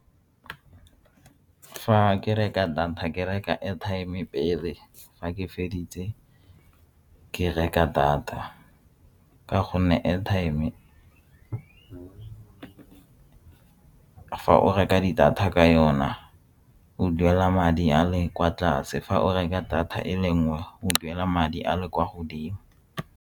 Fa ke reka data ke reka airtime-e pele fa ke feditse ke reka data ka gonne airtime fa o reka di-data ka yona o duela madi a le kwa tlase fa o reka data e le nngwe o duela madi a le kwa godimo.